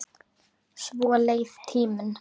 Svo leið tíminn.